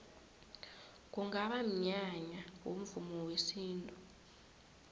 kungaba mnyanya womvumo wesintu